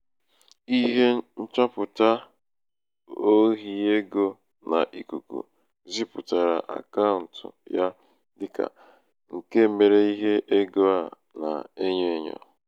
ihe nchọpụ̀ta nchọpụ̀ta ohi ego n’ikùkù zipùtàrà àkaụ̀ǹtụ ya dịkà ṅ̀ke mere ihe egō a nà-enyo ènyò